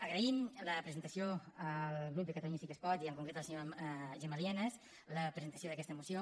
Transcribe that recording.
agraïm la presentació al grup de catalunya sí que es pot i en concret a la senyora gemma lienas la presentació d’aquesta moció